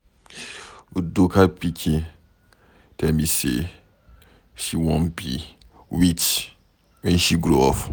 Udoka pikin tell me say she wan be witch wen she grow up.